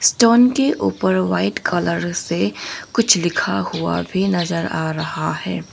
Stone के ऊपर white colour से कुछ लिखा हुआ भी नजर आ रहा है।